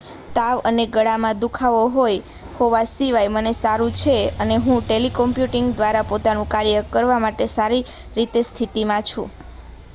"""તાવ અને ગળામાં દુખાવો હોવા સિવાય મને સારું છે અને હું ટેલિકોમ્યુટીંગ દ્વારા પોતાનું કાર્ય કરવા માટે સારી સ્થિતિમાં છું.